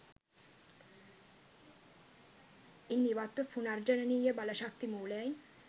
ඉන් ඉවත්ව පුනර්ජනනීය බල ශක්ති මූලයන්